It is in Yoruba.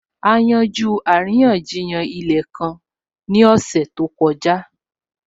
A yanjú àríyànjiyàn ilẹ̀ kan ní ọ̀sẹ̀ tó kọjá